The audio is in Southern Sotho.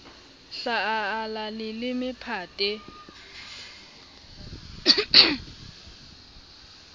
hla a ala leleme phate